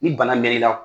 Ni bana mɛn'i la